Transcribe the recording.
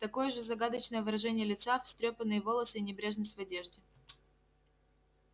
такое же загадочное выражение лица встрёпанные волосы и небрежность в одежде